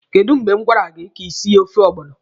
Kedụ mgbe m gwara gị ka ị sie ofe ọgbọnọ?